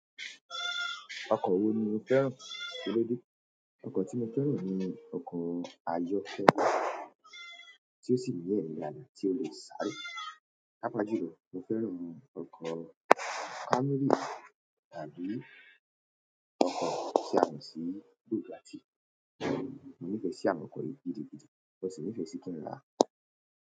Ọkọ̀ wo ni o fẹ́ràn kilódé? Ọkọ̀ tí mo fẹ́ràn ni ọkọ̀ ayọ́fẹ́rẹ́, tí ó sì ní ẹ̀rìn dáadáa tí o lè sáré. Pápa jùlọ, mo fẹ́ràn ọkọ̀ Camry tàbí ọkọ̀ ti. Mo Bugatti. Mo nífẹ̀ẹ́ sí àwọn ọkọ̀ yìí gidigidi, mo sì nífẹ̀ẹ́ sí kí n rà á.